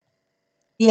DR2